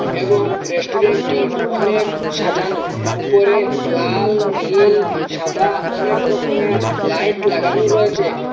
এবং রেস্টুরেন্টটি অনেক সাজানো উপরে লাল নীল সাদা অনেক রকমের লাইট লাগানো রয়েছে।